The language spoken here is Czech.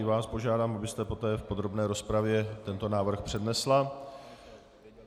I vás požádám, abyste poté v podrobné rozpravě tento návrh přednesla.